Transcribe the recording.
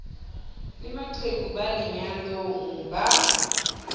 le maqheku a lenyalong ba